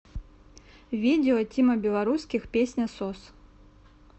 видео тима белорусских песня сос